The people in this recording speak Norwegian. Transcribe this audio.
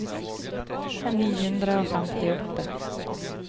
ni hundre og femtiåtte